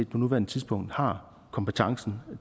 på nuværende tidspunkt har kompetencen